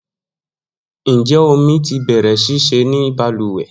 Njẹ omi ti bẹrẹ ṣiṣe ni baluwe?